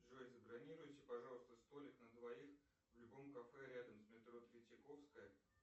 джой забронируйте пожалуйста столик на двоих в любом кафе рядом с метро третьяковская